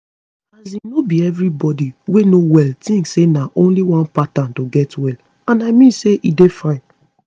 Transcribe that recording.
as in no be everybody wey no well tink say na only one pattern to get well and i mean say e dey fine